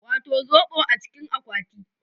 Wato zobo a cikin akwati